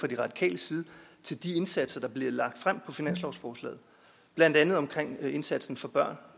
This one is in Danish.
de radikales side til de indsatser der bliver lagt frem i finanslovsforslaget blandt andet indsatsen for børn